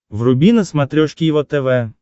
вруби на смотрешке его тв